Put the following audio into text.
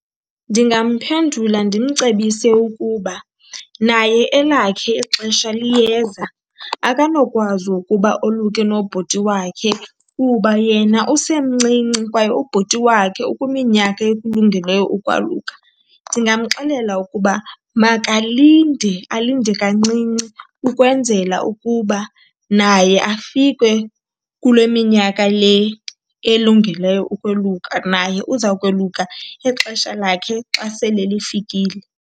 Ndingamphendula ndimcebise ukuba naye elakhe ixesha liyeza, akanokwazi ukuba oluke nobhuti wakhe kuba yena usemncinci kwaye ubhuti wakhe ukwiminyaka ekulungeleyo ukwaluka. Ndingamxelela ukuba makalinde, alinde kancinci ukwenzela ukuba naye afike kule minyaka le elungeleyo ukweluka. Naye uza kweluka ixesha lakhe xa sele lifikile.